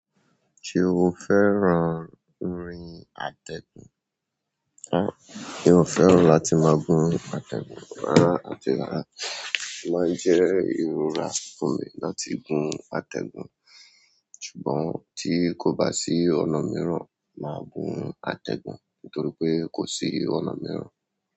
Ṣé o fẹ́ran rin àtẹ̀gùn? Rárá mi ò fẹ́ràn láti máa gun àtẹ̀gùn. Rárá àti rárá mi bá ti rọra fún mi àti atẹ́gùn. Ṣùgbọ́n tí kò bá sí ọ̀nà mìíràn, máa gun atẹ́gun torí kò sí ọ̀nà mìíràn.